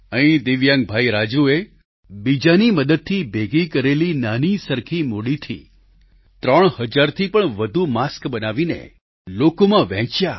અહીં દિવ્યાંગ ભાઈ રાજૂએ બીજાની મદદથી ભેગી કરેલી નાની સરખી મૂડીથી ત્રણ હજારથી પણ વધુ માસ્ક બનાવીને લોકોમાં વહેંચ્યા